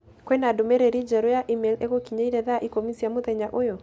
Kwĩ na ndũmĩrĩri njerũ ya e-mail ĩgũkinyire thaa ikũmi cia mũthenya ũyũ.